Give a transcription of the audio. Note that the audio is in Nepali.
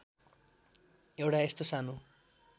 एउटा यस्तो सानो